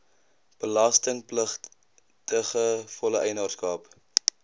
belastingpligtige volle eienaarskap